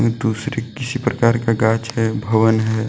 दूसरे किसी प्रकार का गाच है भवन है।